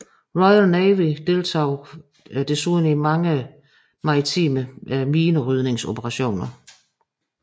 Royal Navy deltog desuden i mange maritime minerydningsoperationer